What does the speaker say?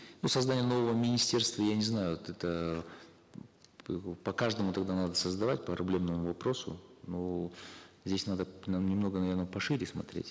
ну создание нового министерства я не знаю это по каждому тогда надо создавать проблемному вопросу ну здесь надо немного наверно пошире смотреть